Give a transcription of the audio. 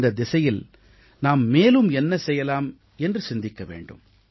இந்தத் திசையில் நாம் மேலும் என்ன செய்யலாம் என்று சிந்திக்க வேண்டும்